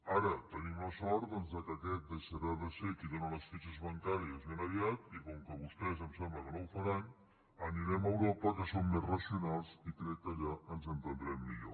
ara tenim la sort doncs que aquest deixarà de ser qui dóna les fitxes bancàries ben aviat i com que vostès em sembla que no ho faran anirem a europa que són més racionals i crec que allà ens entendrem millor